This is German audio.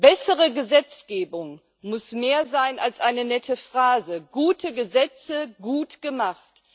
Bessere Gesetzgebung muss mehr sein als eine nette Phrase Gute Gesetze gut gemacht.